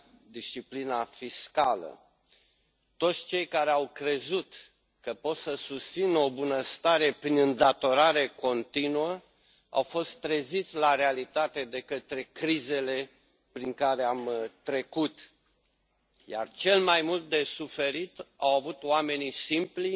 disciplina fiscală. Toți cei care au crezut că pot să susțină o bunăstare prin îndatorare continuă au fost treziți la realitate de către crizele prin care am trecut, iar cel mai mult au avut de suferit oamenii simpli,